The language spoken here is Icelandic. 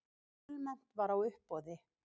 Fjölmennt var á uppboði